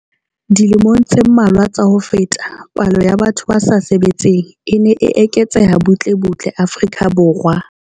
Dilemong tse mmalwa tsa ho feta, palo ya batho ba sa sebetseng e ne e eketseha butle butle Afrika Borwa.